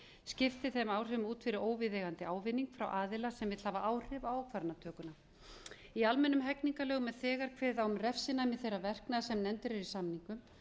skiptir þeim áhrifum út fyrir óviðeigandi ávinning frá aðila sem vill hafa áhrif á ákvarðanatökuna í almennum hegningarlögum er þegar kveðið á um refsinæmi þess verknaðar sem nefndur er